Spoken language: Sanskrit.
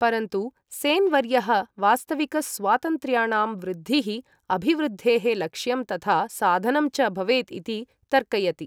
परन्तु, सेन् वर्यः वास्तविक स्वातन्त्र्याणां वृद्धिः अभिवृद्धेः लक्ष्यं तथा साधनं च भवेत् इति तर्कयति।